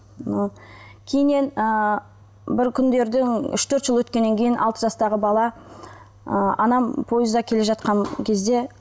кейіннен ыыы бір күндердің үш төрт жыл өткеннен кейін алты жастағы бала ы анам пойызда келе жатқан кезде